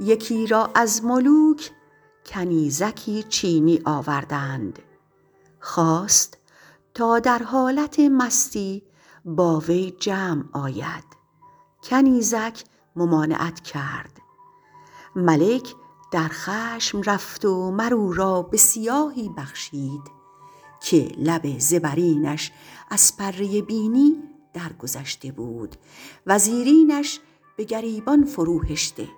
یکی را از ملوک کنیزکی چینی آوردند خواست تا در حالت مستی با وی جمع آید کنیزک ممانعت کرد ملک در خشم رفت و مر او را به سیاهی بخشید که لب زبرینش از پره بینی درگذشته بود و زیرینش به گریبان فرو هشته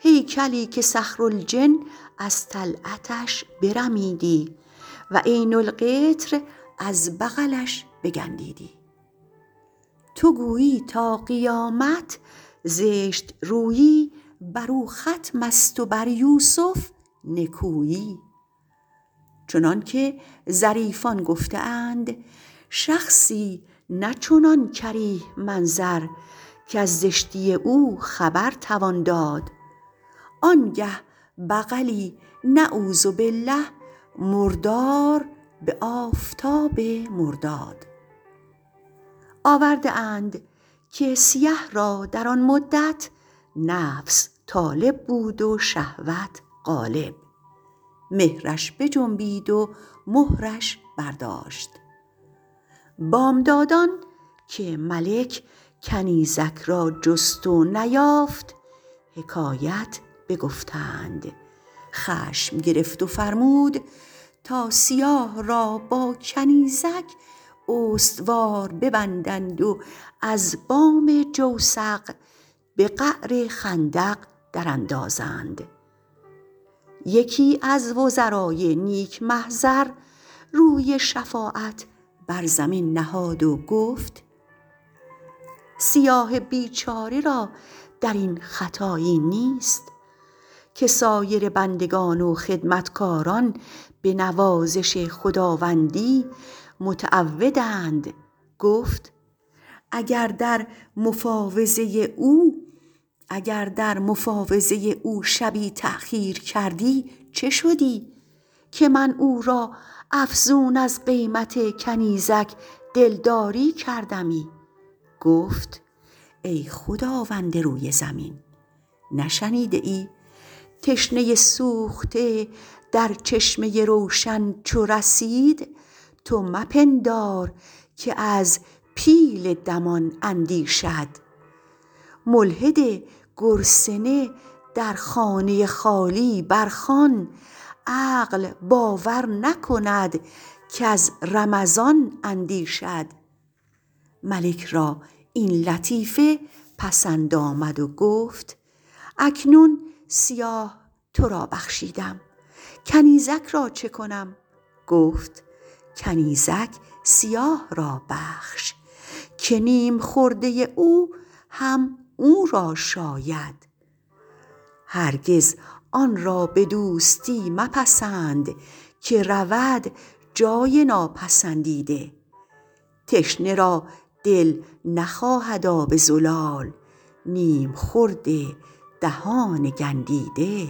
هیکلی که صخرالجن از طلعتش برمیدی و عین القطر از بغلش بگندیدی تو گویی تا قیامت زشت رویی بر او ختم است و بر یوسف نکویی چنان که ظریفان گفته اند شخصی نه چنان کریه منظر کز زشتی او خبر توان داد آن گه بغلی نعوذ باللٰه مردار به آفتاب مرداد آورده اند که سیه را در آن مدت نفس طالب بود و شهوت غالب مهرش بجنبید و مهرش برداشت بامدادان که ملک کنیزک را جست و نیافت حکایت بگفتند خشم گرفت و فرمود تا سیاه را با کنیزک استوار ببندند و از بام جوسق به قعر خندق در اندازند یکی از وزرای نیک محضر روی شفاعت بر زمین نهاد و گفت سیاه بیچاره را در این خطایی نیست که سایر بندگان و خدمتکاران به نوازش خداوندی متعودند گفت اگر در مفاوضه او شبی تأخیر کردی چه شدی که من او را افزون از قیمت کنیزک دلداری کردمی گفت ای خداوند روی زمین نشنیده ای تشنه سوخته در چشمه روشن چو رسید تو مپندار که از پیل دمان اندیشد ملحد گرسنه در خانه خالی بر خوان عقل باور نکند کز رمضان اندیشد ملک را این لطیفه پسند آمد و گفت اکنون سیاه تو را بخشیدم کنیزک را چه کنم گفت کنیزک سیاه را بخش که نیم خورده او هم او را شاید هرگز آن را به دوستی مپسند که رود جای ناپسندیده تشنه را دل نخواهد آب زلال نیم خورد دهان گندیده